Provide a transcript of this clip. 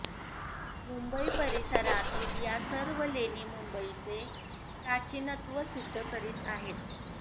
मुंबई परिसरातील या सर्व लेणी मुंबईचे प्राचीनत्व सिद्ध करीत आहेत